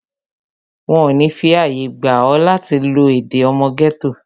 Wọn ò ní fi àyè gba ọ, láti lo èdè ọmọ gẹ́tò